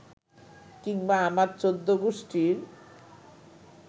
কিংবা আমার চৌদ্দগুষ্টির